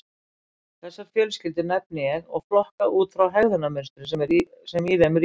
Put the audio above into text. Þessar fjölskyldur nefni ég og flokka út frá hegðunarmynstrinu sem í þeim ríkir.